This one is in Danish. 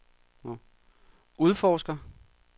udforsker